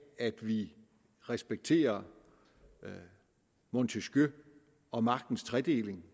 at vi respekterer montesquieu og magtens tredeling